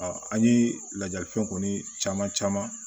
an ye lajali fɛn kɔni caman caman